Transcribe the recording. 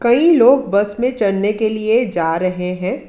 कई लोग बस में चढ़ने के लिए जा रहे हैं।